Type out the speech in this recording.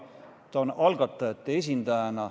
Ta on algatajate esindaja.